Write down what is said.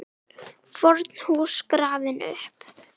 FORN HÚS GRAFIN UPP